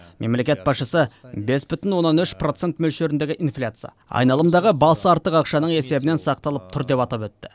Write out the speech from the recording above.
мемлекет басшысы бес бүтін оннан үш процент мөлшеріндегі инфляция айналымдағы басы артық ақшаның есебінен сақталып тұр деп атап өтті